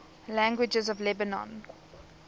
languages of lebanon